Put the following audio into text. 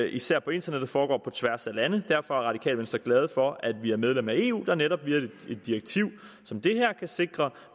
især på internettet foregår på tværs af lande er radikale venstre glade for at vi er medlem af eu der netop via et direktiv som det her kan sikre